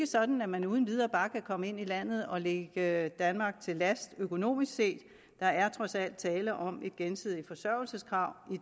sådan at man uden videre bare kan komme ind i landet og ligge danmark til last økonomisk set der er trods alt tale om et gensidigt forsørgelseskrav